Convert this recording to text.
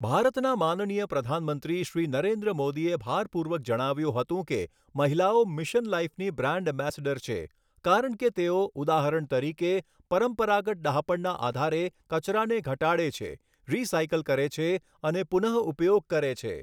ભારતના માનનીય પ્રધાનમંત્રી શ્રી નરેન્દ્ર મોદીએ ભારપૂર્વક જણાવ્યું હતું કે, મહિલાઓ મિશન લાઇફની બ્રાન્ડ એમ્બેસેડર છે, કારણ કે તેઓ ઉદાહરણ તરીકે, પરંપરાગત ડહાપણના આધારે કચરાને ઘટાડે છે, રિસાયકલ કરે છે અને પુનઃઉપયોગ કરે છે.